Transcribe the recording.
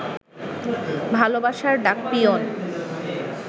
ভালবাসার ডাকপিয়ন